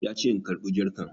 Ya ce in karɓi jarkan